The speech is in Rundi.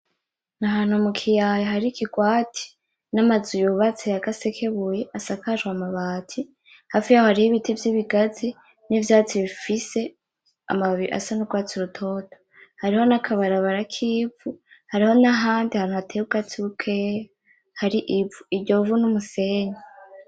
N'Ahantu mukiyaya hari ikigwati n'amazu yubatse ya gasekebuye asakajwe amabati, hafi yaho hari Ibiti vy'Ibigazi, n'ivyatsi bifise amababi asa n'urwatsi rutoto, hariho nakabarabara kivu hariho n'ahandi hantu hateye ubwatsi bukeyi hari ivu. Iryo vu n'umusenyi.